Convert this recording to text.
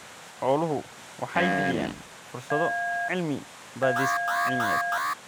Xooluhu waxay bixiyaan fursado cilmi-baadhis cilmiyeed.